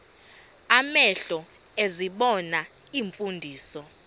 amehlo ezibona iimfundiso